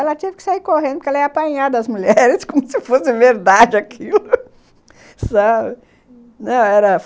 Ela teve que sair correndo, porque ela ia apanhar das mulheres, como se fosse verdade aquilo, sabe... Uhum...